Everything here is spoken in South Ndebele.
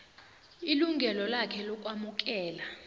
ilungelo lakhe lokwamukela